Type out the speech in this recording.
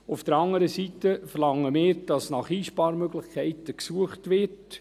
Auf der anderen Seite verlangen wir, dass nach Einsparmöglichkeiten gesucht wird.